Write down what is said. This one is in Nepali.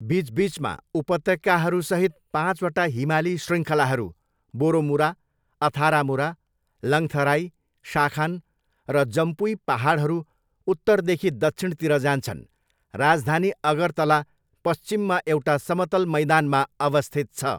बिचबिचमा उपत्यकाहरूसहित पाँचवटा हिमाली शृङ्खलाहरू बोरोमुरा, अथारामुरा, लङ्थराई, शाखान र जम्पुई पाहाडहरू उत्तरदेखि दक्षिणतिर जान्छन्, राजधानी अगरतला पश्चिममा एउटा समतल मैदानमा अवस्थित छ।